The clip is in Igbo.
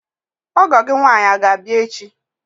Ọgọ gị nwaanyi aga abịa echi?